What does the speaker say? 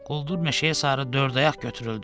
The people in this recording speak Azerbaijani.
Quldur meşəyə sarı dördayaq götürüldü.